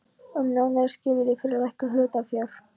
um nánari skilyrði fyrir lækkun hlutafjár.